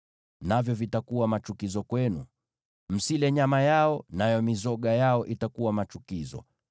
Nao watakuwa machukizo kwenu. Msile nyama yao, nayo mizoga yao itakuwa machukizo.